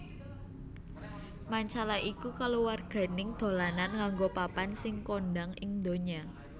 Mancala iku kaluwarganing dolanan nganggo papan sing kondhang ing ndonya